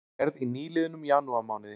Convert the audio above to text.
Könnunin var gerð í nýliðnum janúarmánuði